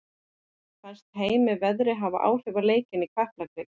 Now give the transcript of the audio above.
Fannst Heimi veðrið hafa áhrif á leikinn í Kaplakrika?